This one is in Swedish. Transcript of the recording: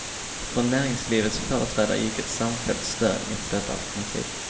Från näringslivets företrädare gick ett samfällt stön inför detta alternativ.